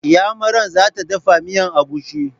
Iyamaran za ta dafa miyan agushi.